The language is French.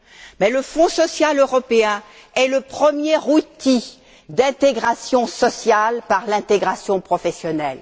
Mais le Fonds social européen est le premier outil d'intégration sociale par l'intégration professionnelle.